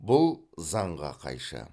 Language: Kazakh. бұл заңға қайшы